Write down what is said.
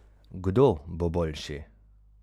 Kdo bo boljši?